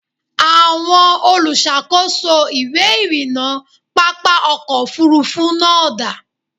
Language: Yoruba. Àwọn olùṣàkóso ìwé ìrìnnà pápá ọkọ̀ Òfurufú náà da?